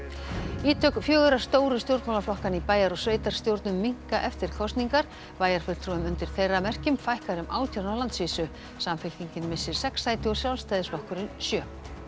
ítök fjögurra stóru stjórnmálaflokkanna í bæjar og sveitarstjórnum minnka eftir kosningar bæjarfulltrúum undir þeirra merkjum fækkar um átján á landsvísu samfylkingin missir sex sæti og Sjálfstæðisflokkurinn sjö